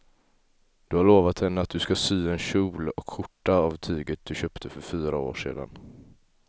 Du har lovat henne att du ska sy en kjol och skjorta av tyget du köpte för fyra år sedan.